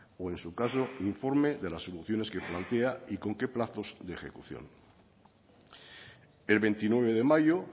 o en su caso informe de las soluciones que plantea y con qué plazos de ejecución el veintinueve de mayo